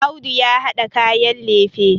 Audu ya hada kayan lefe